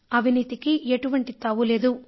అవినీతికి ఎంటువంటి తావు లేదు